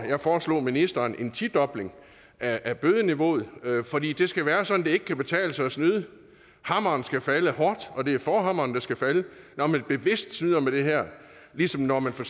jeg foreslog ministeren en tidobling af bødeniveauet fordi det skal være sådan at det ikke kan betale sig at snyde hammeren skal falde hårdt og det er forhammeren der skal falde når man bevidst snyder med det her ligesom når man for